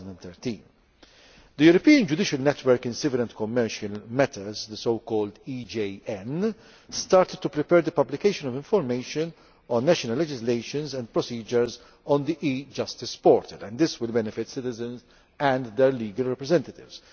2013. The European Judicial Network in Civil and Commercial Matters, the so called EJN, has started to prepare the publication of information on national legislations and procedures on the e Justice portal, and this will benefit citizens and their legal representatives.